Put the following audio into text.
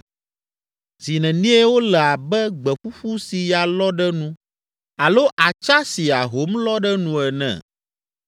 Zi nenie wole abe gbe ƒuƒu si ya lɔ ɖe nu alo atsa si ahom lɔ ɖe nu ene?